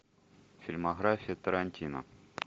фильмография тарантино